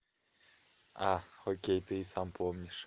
а окей ты и сам помнишь